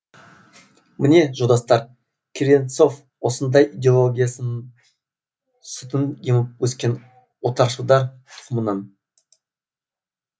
міне жолдастар клевенцов осындай идеологияның сүтін еміп өскен отаршылдар тұқымынан